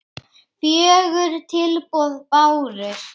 Fjögur tilboð bárust.